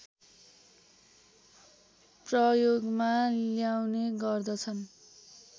प्रयोगमा ल्याउने गर्दछन्